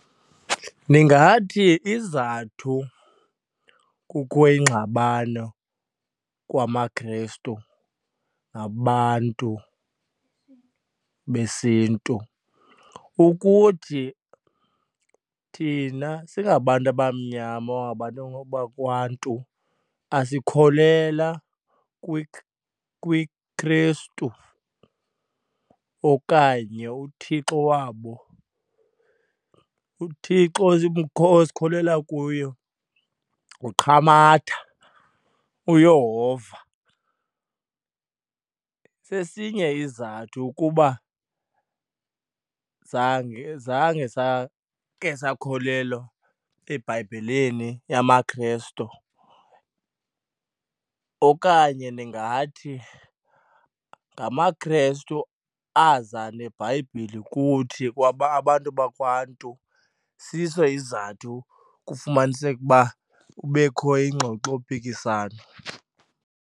Ndingathi izizathu kukho ingxabano kwamaKrestu nabantu besiNtu ukuthi thina singabantu abamnyama or bantu bakwaNtu asikholelwa kwiKrestu okanye uThixo wabo. UThixo esikholelwa kuyo nguQamata uYehova. Sesinye isizathu ukuba zange zange sakhe sakholelwa eBhayibhileni yamaKrestu okanye ndingathi ngamaKrestu aza neBhayibhile kuthi abantu bakwaNtu, siso izizathu kufumaniseke ukuba kubekho iingxoxompikiswano.